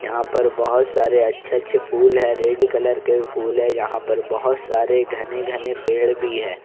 यहां पर बहोत सारे अच्छे-अच्छे फूल है रेड कलर के फूल है यहां पर बहोत सारे घने-घने पेड़ भी है।